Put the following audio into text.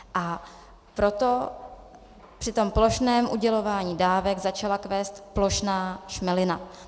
A proto při tom plošném udělování dávek začala kvést plošná šmelina.